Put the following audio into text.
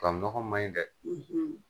nɔgɔ ma ɲi dɛ!